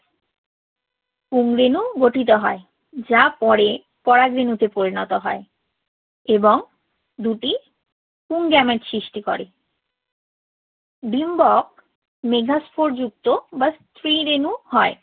পুং-রেণু গঠিত হয় যা পরে পরাগরেণুতে পরিণত হয় এবং দুটি পুংগ্যামেট সৃষ্টি করে। ডিম্বক মেগাস্পোরযুক্ত বা স্ত্রী-রেণু হয়।